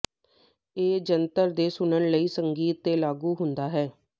ਇਹ ਜੰਤਰ ਤੇ ਸੁਣਨ ਲਈ ਸੰਗੀਤ ਤੇ ਲਾਗੂ ਹੁੰਦਾ ਹੈ